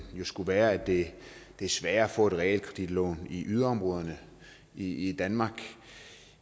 jo skulle være at det er sværere at få et realkreditlån i yderområderne i danmark